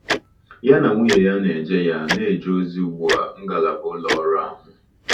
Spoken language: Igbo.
Ya na nwunye ya na-eje ya na-eje ozi ugbu a ngalaba ụlọ ọrụ ahụ.